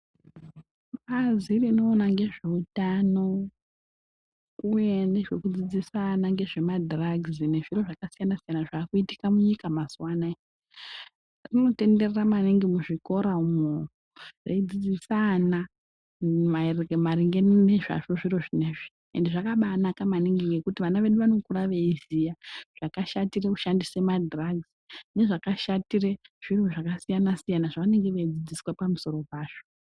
Bazi rinoona ngezveutano uye ngezvekudzidzisa vana zvakaita sezvemadhiragisi ngezviro zvakasiyana siyana zvava kuitika munyika mazuva ano aya rinotenderera manhingi muzvikora umu reidzidzisa ana maringe nezvazvo zviro izvi. Ende zvakanake maningi ngekuti ana edu anokura eiziva zvakashatire kushandise madhiragisi nezvakashatire zvinhu zvakasiyana siyana zvavanenge veidzidziswa pamusoro pazvo.